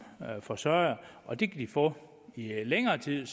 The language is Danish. forsørger og det kan de få i længere tid